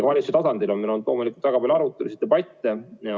Valitsuse tasandil on meil olnud loomulikult väga palju arutelusid ja debatte.